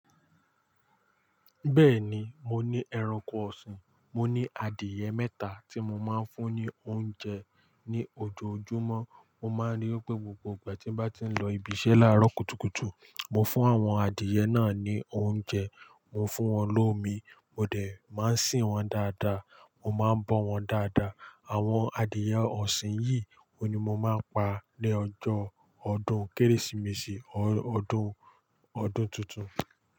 Bẹ́ẹ̀ni, mo ní ẹranko ọ̀sìn. Mo ní adìẹ mẹ́ta tí mo máa ń fún ní oúnjẹ ní ojoojúmọ́. Mo máa ń rí wipé gbogbo ìgbà tí n bá ti ń lọ ibi iṣẹ́ láàárọ̀ kùtùkùtù, mo fún àwọn adìyẹ náà ní oúnjẹ. Mo fún wọn lómi, mo dẹ̀ máa ń sìn wọ́n dáadáa, mo máa ń bọ́ wọn dáadáa. Àwọn adìyẹ ọ̀sìn yìí oun ni mo máa pa ní ọjọ́ ọdún Kérésìmesì or ọdún, ọdún tuntun.